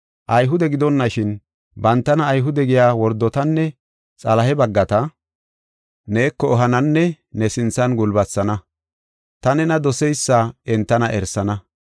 Ayhude gidonashin, bantana Ayhude giya wordotanne Xalahe baggata neeko ehananne ne sinthan gulbatisana. Ta nena doseysa entana erisana.